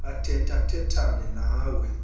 athetha thethane nawe